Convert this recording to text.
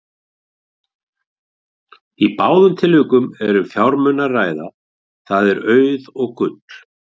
Í báðum tilvikunum er um fjármuni að ræða, það er auð og gull.